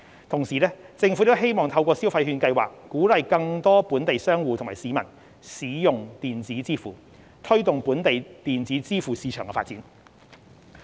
同時，政府亦希望透過消費券計劃鼓勵更多本地商戶及市民使用電子支付，推動本地電子支付市場發展。